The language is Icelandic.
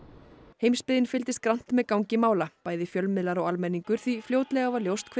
heimsbyggðin fylgdist grannt með gangi mála bæði fjölmiðlar og almenningur því fljótlega var ljóst hve